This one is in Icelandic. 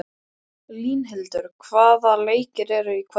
Línhildur, hvaða leikir eru í kvöld?